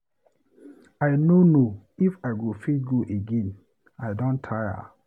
I no know if I go fit go again, I don tire.